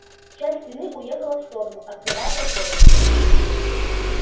часть стены уехала в сторону открывая проход